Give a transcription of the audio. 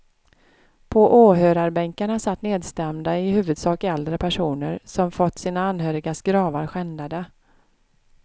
På åhörarbänkarna satt nedstämda i huvudsak äldre personer som fått sina anhörigas gravar skändade.